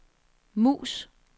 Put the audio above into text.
mus